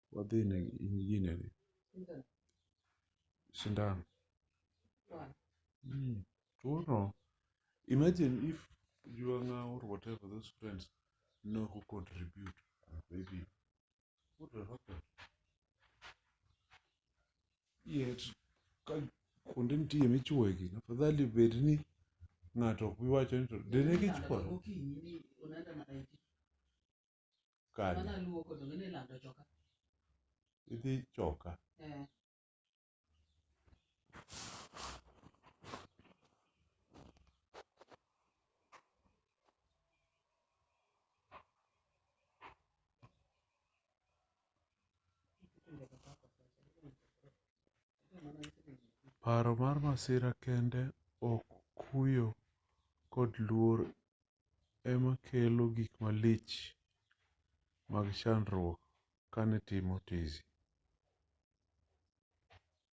paro mar masira kende ok kuyo kod luor emanekelo gik malich amg chandruok kanitimo tizi